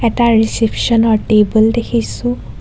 এটা ৰিছেপচন ৰ টেবুল দেখিছোঁ.